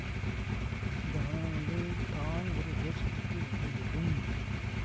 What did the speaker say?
இந்த மன நிலையில் தான் ஒரு போதிசித்தத்தை உணர இயலும்